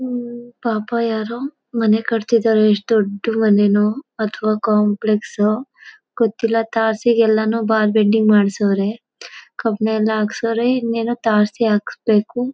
ಹೂಂ ಪಾಪ ಯಾರೋ ಮನೇ ಕಟ್ತ್ತಿದ್ದಾರೆ ಎಷ್ಟು ದೊಡ್ಡ ಮನೆನೋ ಅಥವಾ ಕಾಂಪ್ಲೆಕ್ಸ್ ಓ ಗೊತ್ತಿಲ್ಲ ತಾರ್ಸಿಗೇಲ್ಲಾನೂ ಬಾರ್ ಬೆಂಡಿಂಗ್ ಮಾಡ್ಸವ್ರೆ ಕಬ್ಬಿಣ ಎಲ್ಲ ಹಾಕ್ಸವ್ರೆ ಇನ್ನೇನು ತಾರಸಿ ಹಾಕಿಸ್ಬೇಕು.